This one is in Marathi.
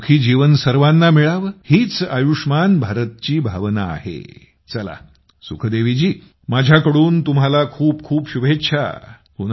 हे सुखी जीवन सर्वांना मिळावं हीच आयुष्मान भारतची भावना आहे चलासुखदेवीजी माझ्या तुम्हाला खूपखूप शुभेच्छा